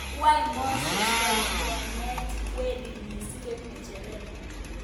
Kwany Muses kokikoneet kwerinyi si koip ngejeret?